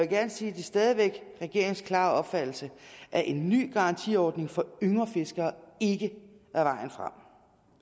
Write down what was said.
gerne sige at det stadig væk er regeringens klare opfattelse at en ny garantiordning for yngre fiskere ikke er vejen frem